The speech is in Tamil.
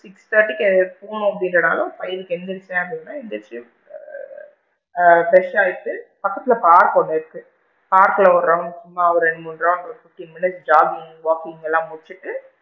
Six thirty கு போகணும் அப்படின்னாலும் இங்க five கு எந்திருச்சு ஆ fresh ஆகிட்டு பக்கத்துல பார்க் ஒன்னு இருக்கு பார்க்ல ஒரு round சும்மா ரெண்டு மூணு round ஒரு fifteen minutes joking walking எல்லாம் முடிச்சிட்டு,